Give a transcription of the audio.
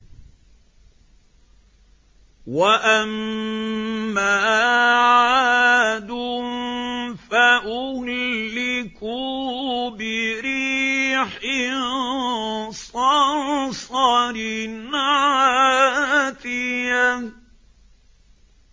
وَأَمَّا عَادٌ فَأُهْلِكُوا بِرِيحٍ صَرْصَرٍ عَاتِيَةٍ